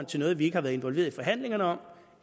til noget vi ikke har været involveret i forhandlingerne om